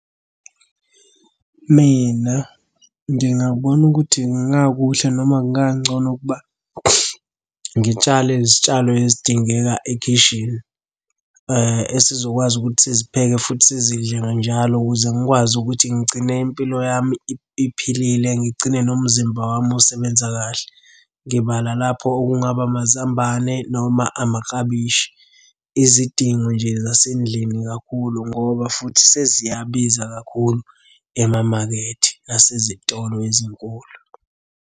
Mina ngingabona ukuthi kungakuhle noma kungangcono ukuba ngitshale izitshalo ezidingeka ekhishini, esizokwazi ukuthi sizipheke futhi sizidle nganjalo ukuze ngikwazi ukuthi ngigcine impilo yami iphilile, ngigcine nomzimba wami usebenza kahle. Ngibala lapho okungaba amazambane noma amaklabishi. Izidingo nje zasendlini kakhulu ngoba futhi seziyabiza kakhulu emamakethe nasezitolo ezinkulu.